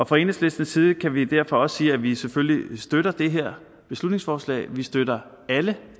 fra enhedslistens side kan vi derfor også sige at vi selvfølgelig støtter det her beslutningsforslag vi støtter alle